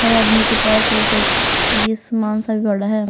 हर आदमी के पास वो यह सामान सा भी बड़ा है।